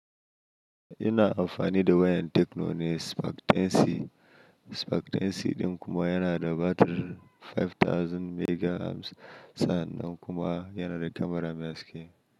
Yana amfani da wayan tekno ne spark 10c, spark 10c ɗin kuma yana da batir 5000 mega amps sa, nan kuma yana da kyamara mai haske.